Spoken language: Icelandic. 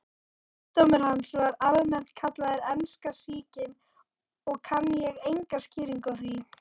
Sjúkdómur hans var almennt kallaður enska sýkin og kann ég enga skýringu á því.